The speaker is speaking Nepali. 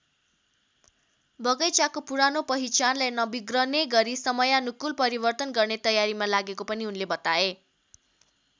बगैंचाको पुरानो पहिचानलाई नबिग्रने गरी समयानुकूल परिवर्तन गर्ने तयारीमा लागेको पनि उनले बताए।